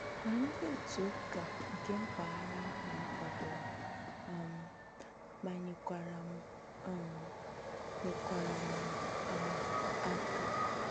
Ma ndị otu ụka nke mpaghara ahụ nkwadoro um ma nyekwara m um nyekwara m um aka.